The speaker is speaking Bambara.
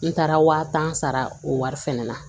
N taara waa tan sara o wari fɛnɛ na